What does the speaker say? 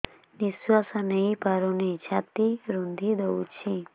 ନିଶ୍ୱାସ ନେଇପାରୁନି ଛାତି ରୁନ୍ଧି ଦଉଛି